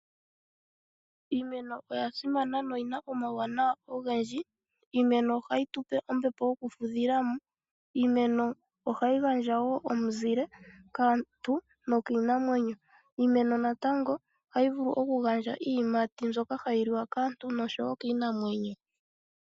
Iimeno oya simana noyina omawuwanawa ogendji .Iimeno ohayi tupe ombepo yoku fudhilamo . Iimeno ohayi gandja woo omuzile kaantu nokiinamwenyo. Iimeno woo natango ohayi vulu okugandja iiyimati mbyoka hayi liwa kaantu noshowo kiinamwenyo .